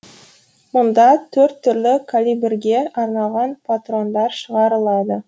мұнда төрт түрлі калибрге арналған патрондар шығарылады